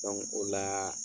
o la